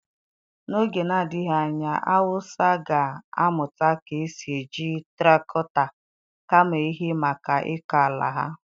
N'oge na-adịghị anya awụsa ga-amụta ka esi eji traktọ kama ehi maka ịkọ ala ha.